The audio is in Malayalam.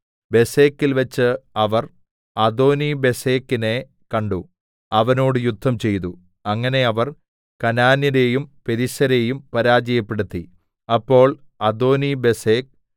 ബേസെക്കിൽവെച്ച് അവർ അദോനിബേസെക്കിനെ കണ്ടു അവനോട് യുദ്ധംചെയ്തു അങ്ങനെ അവർ കനാന്യരെയും പെരിസ്യരെയും പരാജയപ്പെടുത്തി